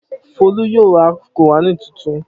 Folú yóò ra Kùránì tuntun.